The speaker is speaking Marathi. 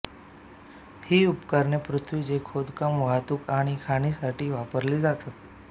ही उपकरणे पृथ्वीचे खोदकाम वाहतूक आणि खाणीसाठी वापरली जातात